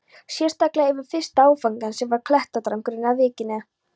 Sérstaklega yfir fyrsta áfangann, sem var klettadrangurinn við víkina.